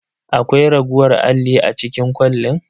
Akwai raguwar alli a cikin kwalin?